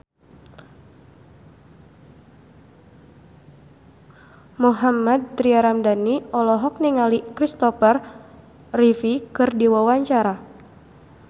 Mohammad Tria Ramadhani olohok ningali Christopher Reeve keur diwawancara